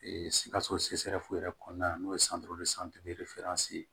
sikaso yɛrɛ kɔnɔna na n'o ye ye